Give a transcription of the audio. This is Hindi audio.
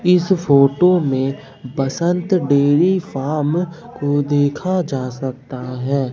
इस फोटो में बसंत डेयरी फार्म को देखा जा सकता है।